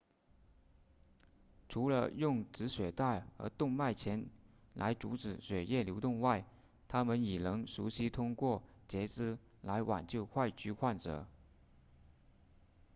除了用止血带和动脉钳来阻止血液流动外他们已能熟练通过截肢来挽救坏疽患者